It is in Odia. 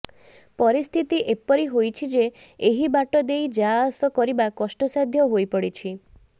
ପରିସ୍ଥିତି ଏପରି ହୋଇଛି ଯେ ଏହି ବାଟ ଦେଇ ଯାଆସ କରିବା କଷ୍ଟସାଧ୍ୟ ହୋଇପଡ଼ିଛି